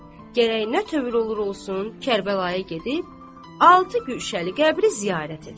Gərək nə tövr olur olsun, Kərbəlaya gedib altı gülşəli qəbri ziyarət edəm.